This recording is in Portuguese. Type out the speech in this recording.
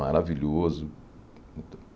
Maravilhoso.